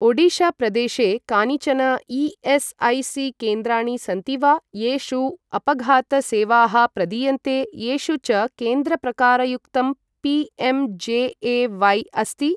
ओडिशा प्रदेशे कानिचन ई.एस्.ऐ.सी.केन्द्राणि सन्ति वा येषु अपघात सेवाः प्रदीयन्ते, येषु च केन्द्रप्रकारयुक्तं पी.एम्.जे.ए.व्हाय् अस्ति?